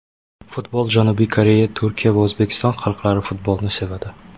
Futbol Janubiy Koreya, Turkiya va O‘zbekiston xalqlari futbolni sevadi.